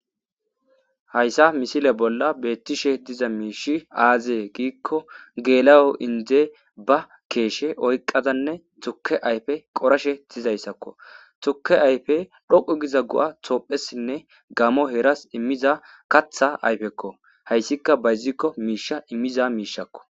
Hayissa misile bolla betishe diza mishi aze gikko gel'o inije ba kesha oyiqadane tuke ayife qorashe dizayissa bezayisako tuke dhoqu giza goa tophesine gamo herasi imiza katha ayifeko hayisika bayiziko misha imiza mishako